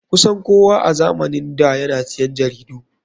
Kusan kowa a zamanin da yana siyan jaridu.